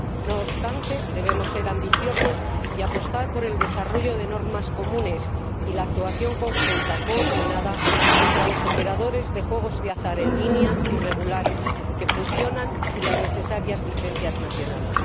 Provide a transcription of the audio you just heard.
No obstante, debemos ser ambiciosos y apostar por el desarrollo de normas comunes y la actuación conjunta coordinada contra los operadores de juegos de azar en línea irregulares, que funcionan sin las necesarias licencias nacionales.